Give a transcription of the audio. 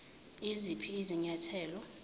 iziphi izinya thelo